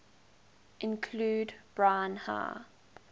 include brine high